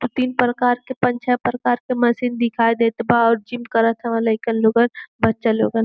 तीन प्रकार के पांच छह प्रकार के मशीन दिखाई देत बा और जिम करत बा लइका लोगन बच्चा लोगन।